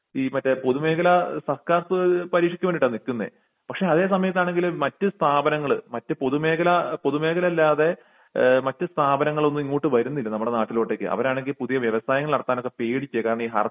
ഈ മറ്റെ പൊതുമേഖല പരീക്ഷക്ക് വേണ്ടീട്ടാ നിക്കുന്നെ പക്ഷെ അതേ സമയത്താണെങ്കിൽ മറ്റ് സ്ഥാപനങ്ങൾ മറ്റ് പൊതുമേഖല പൊതുമേഖല അല്ലാതെ എഹ് മറ്റു സ്ഥാപനങ്ങളൊന്നും ഇങ്ങോട്ട് വരുന്നില്ല നമ്മുടെ നാട്ടിലോട്ടൊക്കെ അവരാണെങ്കി പുതിയ വ്യവസായങ്ങൾ ഇറക്കാൻ ഒക്കെ പേടിക്കേ കാരണം ഈ